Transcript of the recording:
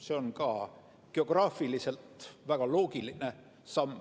See on ka geograafiliselt väga loogiline samm.